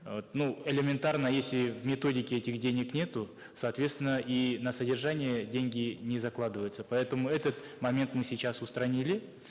вот ну элементарно если в методике этих денег нету соответственно и на содержание деньги не закладываются поэтому этот момент мы сейчас устранили